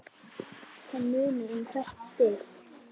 Það munar um hvert stig.